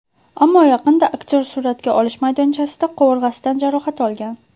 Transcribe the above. Ammo yaqinda aktyor suratga olish maydonchasida qovurg‘asidan jarohat olgan.